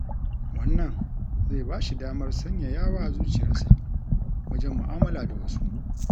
Wannan zai ba shi damar sanyayawa zuciyarsa wajen mu'amala da wasu.